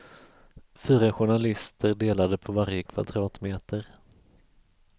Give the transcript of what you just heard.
Fyra journalister delade på varje kvadratmeter.